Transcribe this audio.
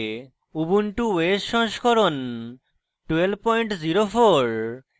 ubuntu os সংস্করণ 1204